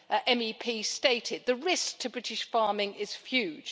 MEP, stated the risk to British farming is huge.